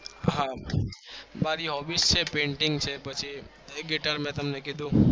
હા મારી ખૂબી છે